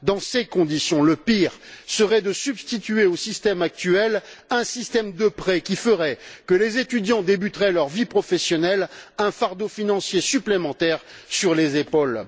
Dans ces conditions, le pire serait de substituer au système actuel un système de prêts qui ferait que les étudiants débuteraient leur vie professionnelle avec un fardeau financier supplémentaire sur les épaules.